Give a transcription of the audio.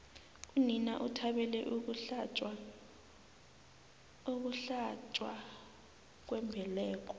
unina uthabele ukuhlatjwa kwembeleko